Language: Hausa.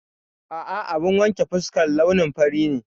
A'a, abun wanke fuskar launin fari ne.